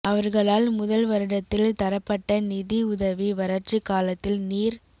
அவர்களால் முதல் வருடத்தில் தரப்பட்ட நிதி உதவி வரட்சிக் காலத்தில் நீர்